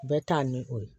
Bɛɛ ta ni o ye